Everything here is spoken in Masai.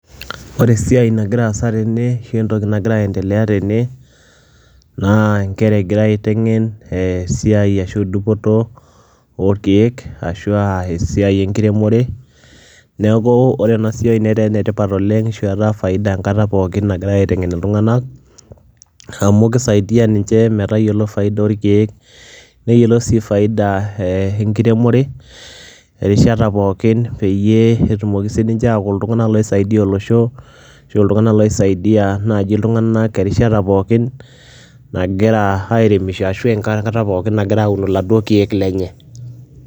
Ore esiai nagira aasa tene ashu entoki nagira aiendelea tene naa nkera egirai aiteng'en ee esiai ashu dupoto orkeek ashu a esiai enkiremore. Neeku ore ena siai netaa ene tipat oleng' ashu etaa faida enkata pookin nagirai aiteng'en iltung'anak amu kisaidia ninje metayilo faida orkeek, neyolou sii faida enkiremore erishata pookin peyie etumoki sininje aaku iltung'anak loisaidia olosho ashu iltung'anak loisaidia naaji iltung'anak erishata pookin nagira airemisho ashu enkai kata pookin nagira aun iladuo keek lenye.